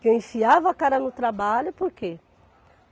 Que eu enfiava a cara no trabalho, por quê?